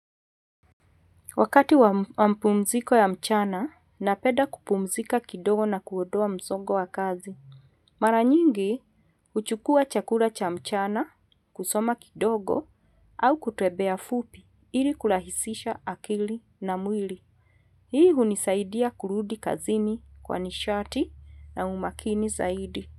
Wakati wa mapumziko ya mchana, napenda kupumzika kidogo na kuondoa msongo wa kazi. Maranyingi, huchukua chakula cha mchana, kusoma kidogo, au kutembea fupi, ili kurahisisha akili na mwili. Hii hunisaidia kurudi kazini kwa nishati na umakini zaidi.